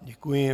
Děkuji.